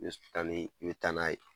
tani i bɛ taa n'a ye